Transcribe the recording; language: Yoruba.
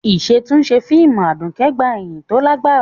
Ìṣàtúnṣe fíìmù Aduke gba ìyìn tó lágbára.